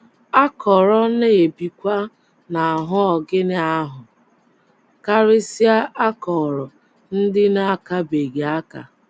Akọrọ na - ebikwa n’ahụ́ ọgịnị ahụ, karịsịa akọrọ ndị na - akabeghị aka.